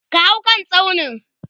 ka hau kan tsaunin!